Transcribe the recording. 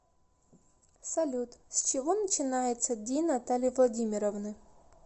салют с чего начинается день натальи владимировны